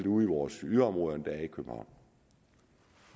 ude i vores yderområder